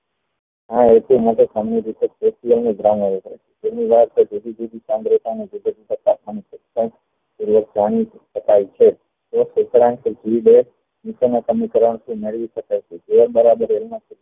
જુધી જુધી વિકારણ ના સમીકરણ થી મેળવી શકાય છે